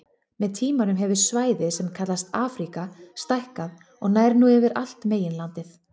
Með tímanum hefur svæðið sem kallast Afríka stækkað og nær nú yfir allt meginlandið.